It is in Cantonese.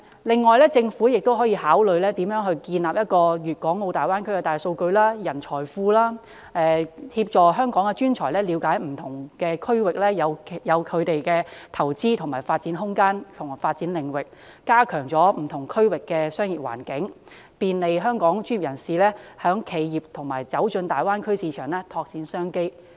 另外，政府也可考慮建立一個大灣區的大數據資料庫及人才庫，協助香港專才了解不同地區可投資或發展的空間和領域，加強不同區域的商業環境，便利香港專業人士和企業進入大灣區市場，拓展商機。